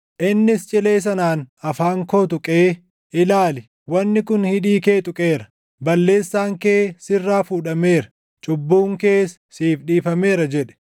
Innis cilee sanaan afaan koo tuqee, “Ilaali, wanni kun hidhii kee tuqeera; balleessaan kee sirraa fuudhameera; cubbuun kees siif dhiifameera” jedhe.